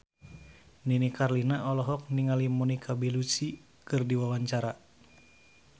Nini Carlina olohok ningali Monica Belluci keur diwawancara